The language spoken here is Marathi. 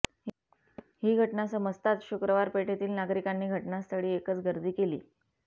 ही घटना समजताच शुक्रवार पेठेतील नागरिकांनी घटनास्थळी एकच गर्दी केली